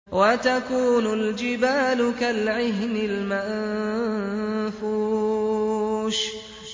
وَتَكُونُ الْجِبَالُ كَالْعِهْنِ الْمَنفُوشِ